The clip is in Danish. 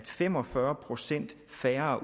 fem og fyrre procent færre